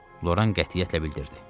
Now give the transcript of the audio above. Loran qətiyyətlə bildirdi.